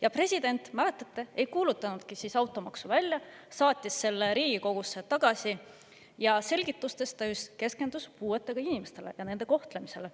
Ja president, mäletate, ei kuulutanudki siis automaksu välja, saatis selle Riigikogusse tagasi ja selgitustes ta just keskendus puuetega inimestele ja nende kohtlemisele.